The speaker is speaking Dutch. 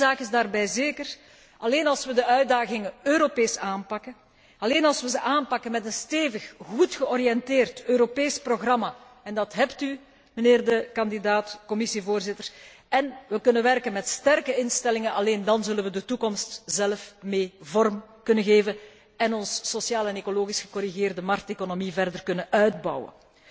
Eén zaak is daarbij zeker alleen als we de uitdagingen Europees aanpakken, alleen als we ze aanpakken met een stevig, goed georiënteerd Europees programma en dat hebt u, mijnheer de kandidaat Commissievoorzitter en we kunnen werken met sterke instellingen, alleen dàn zullen we de toekomst zelf mee vorm kunnen geven en onze sociale en ecologisch gecorrigeerde markteconomie verder kunnen uitbouwen.